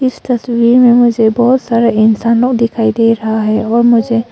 इस तस्वीर में मुझे बहुत सारे इंसानों दिखाई दे रहा है और मुझे--